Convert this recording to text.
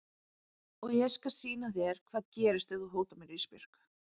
Og ég skal sýna þér hvað gerist ef þú hótar mér Ísbjörg.